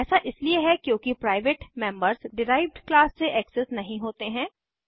ऐसा इसलिए है क्योंकि प्राइवेट मेंबर्स डिराइव्ड क्लास से एक्सेस नहीं होते हैं